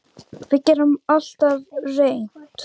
Við getum alltaf reynt.